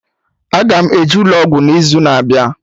Aga m eje ụlọ ọgwụ n'izu na-abịa